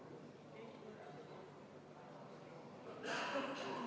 Ettepanek leidis toetust.